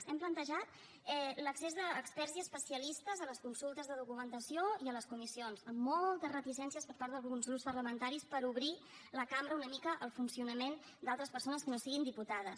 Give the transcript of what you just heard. hem plantejat l’accés d’experts i especialistes a les consultes de documentació i a les comissions amb moltes reticències per part d’alguns grups parlamentaris per obrir la cambra una mica al funcionament d’altres persones que no siguin diputades